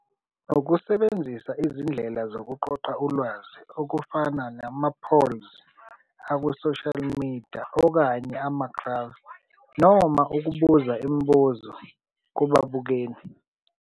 Ukusebenzisa izindlela zokuqoqa ulwazi okufana nama-polls aku-social media okanye noma ukubuza imibuzo kubabukeli.